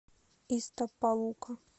истапалука